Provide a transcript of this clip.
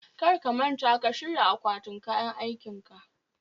Kar ka manta ka shirya akwatin kayan aikinka